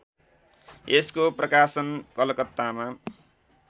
यसको प्रकाशन कलकत्तामा